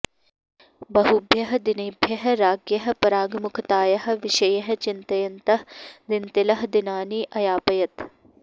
बहुभ्यः दिनेभ्यः राज्ञः पराङ्गमुखतायाः विषये चिन्तयन्तः दिन्तिलः दिनानि अयापयत्